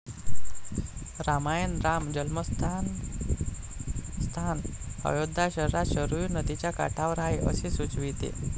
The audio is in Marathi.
रामायण राम जन्मस्थान स्थान अयोध्या शहरात शरयू नदीच्या काठावर आहे असे सुचविते.